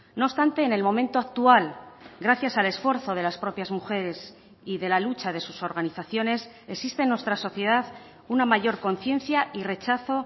no obstante en el momento actual gracias al esfuerzo de las propias mujeres y de la lucha de sus organizaciones existe en nuestra sociedad una mayor conciencia y rechazo